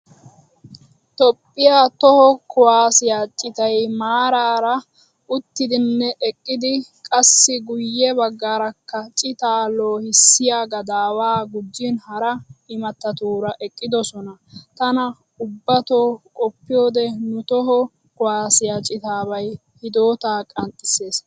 Toophphiya toho kuwaasiya citay maarara uttidinne eqqid qassi guye baggaarakka citaa loohissiya gadaawaa gujin hara immattatuura eqqidosonna. Tana ubbatoo qoppiyode nu toho kuwaasiyaa citaabay hidootaa qanxxissees.